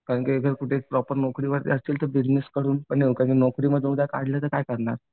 कारण की एक कुठे प्रॉपर नोकरीवरती असशील तर बिजनेस करून उद्या नोकरीवरून काढलं तर काय करणार?